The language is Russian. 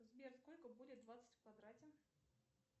сбер сколько будет двадцать в квадрате